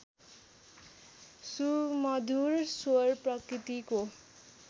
सुमधुर स्वर प्रकृतिको